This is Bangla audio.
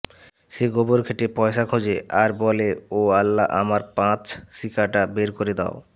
সে গোবর ঘেঁটে পয়সা খোঁজে আর বলে ও আল্লা আমার পাঁচ শিকাটা বের করে দাও